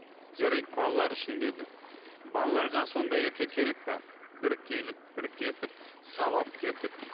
жарайды балалар үшін деді балаларға сондай әке керек пе бір келіп бір кетіп сабап кетіп